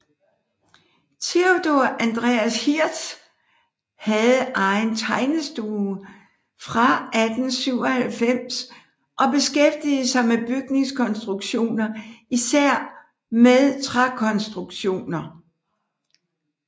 Theodor Andreas Hirths hade egen tegnestue fra 1897 og beskæftigede sig med bygningskonstruktioner især med trækonstruktioner